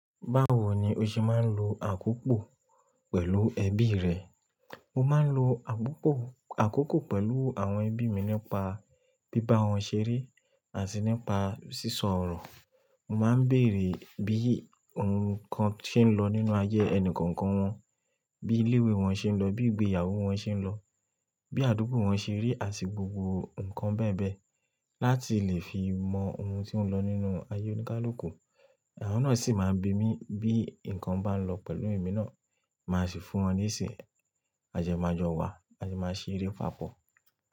Báwo ni o ṣe máa ń lo àkópò pẹ̀lú ẹbí rẹ? Mo máa ń lo àkópò, àkókò pẹ̀lú àwọn ẹbí mi nípa bíbá wọn ṣeré àti nípa sísọ ọ̀rọ̀. Mo máa ń bèèrè bí nǹkan ṣe ń lọ nínú ayé ẹni kọ̀ọ̀kan wọn, bí ilé-ìwé wọn ṣe ń lọ, bí ìgbéyàwó wọn ṣe ń lọ, bí àdúgbò wọn ṣe rí àti gbogbo nǹkan bẹ́ẹ̀ bẹ́ẹ̀ láti lè fi mọ ohun tí ó ń lọ nínú ayé oníkálùkù. Àwọn náà sì máa ń bi mí bí nǹkan bá lọ pẹ̀lú èmi náà, máa sì fún wọn leṣi. A dẹ máa jọ wà, a dẹ máa sere pàpọ̀.